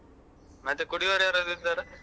ಮತ್ತೆ ಕುಡಿಯೊರ್ ಯಾರಾದ್ರು ಇದ್ದಾರಾ?